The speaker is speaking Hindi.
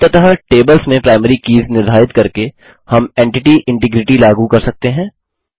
अंततः टेबल्स में प्राइमरी कीज़ निर्धारित करके हम एंटिटी इंटिग्रिटी लागू कर रहे हैं